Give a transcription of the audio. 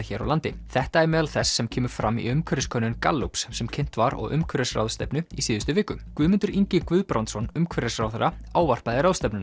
hér á landi þetta er meðal þess sem kemur fram í umhverfiskönnun Gallups sem kynnt var á umhverfisráðstefnu í síðustu viku Guðmundur Ingi Guðbrandsson umhverfisráðherra ávarpaði ráðstefnuna